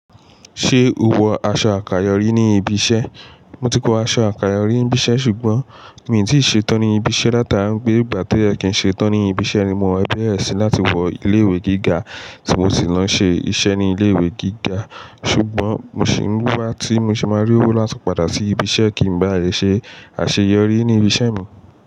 Ṣé o wọ aṣọ àkàyọ́ rí ní ibi iṣẹ́? Mo ti kó aṣọ àkàyọ́ rí ní ibi iṣẹ́ ṣùgbọ́n mi ò tí ì ṣe tán ní ibi iṣẹ́ ni atarọ Gbé ìgbà tí ẹ kì í ṣe tán ní ibi iṣẹ́ ni mo fẹ́ bẹ̀rẹ̀ sí láti wọ ilé ìwé gíga tí mo sì máa ṣe iṣẹ́ ní ilé ìwé gíga. Ṣùgbọ́n mo sì ń wíwá tí mo ṣe máa rí owó láti padà sí ibi iṣẹ́ kí n ba lè ṣe àṣeyọrí ní ibi iṣẹ́ mi.